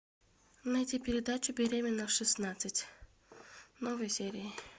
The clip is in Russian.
найти передачу беременна в шестнадцать новые серии